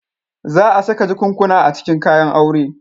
Za a saka jakunkuna a cikin kayan aure.